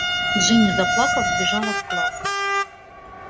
джинни заплакав вбежала в класс